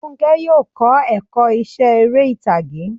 Fúnkẹ́ yóò kọ́ ẹ̀kọ́ iṣẹ́ eré ìtàgé.